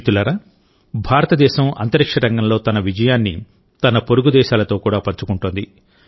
మిత్రులారాభారతదేశం అంతరిక్ష రంగంలో తన విజయాన్ని తన పొరుగు దేశాలతో కూడా పంచుకుంటుంది